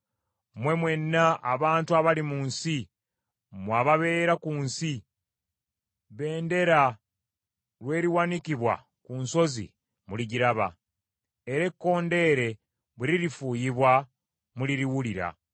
Mmwe mwenna abantu abali mu nsi, mmwe ababeera ku nsi, bendera lweriwanikibwa ku nsozi, muligiraba, era ekkondeere bwe lirifuuyibwa, muliriwulira.